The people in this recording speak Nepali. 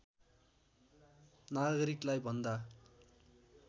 नागरिकलाई भन्दा